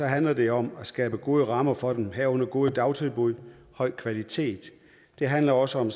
handler det om at skabe gode rammer for den herunder gode dagtilbud af høj kvalitet det handler også om